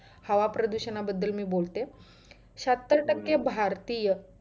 हवा प्रदुषणा बदल मी बोलते शहात्तर टक्के भारतीय